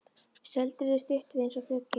Stöldruðu stutt við eins og döggin.